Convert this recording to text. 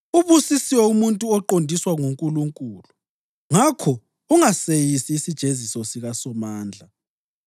Ubusisiwe umuntu oqondiswa nguNkulunkulu; ngakho ungaseyisi isijeziso sikaSomandla.